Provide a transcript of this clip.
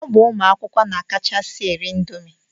Ọ bụ ụmụ akwụkwọ na-akachasi eri indomi.